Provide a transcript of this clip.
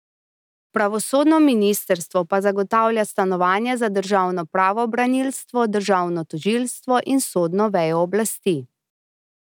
Pravosodno ministrstvo pa zagotavlja stanovanja za državno pravobranilstvo, državno tožilstvo in sodno vejo oblasti.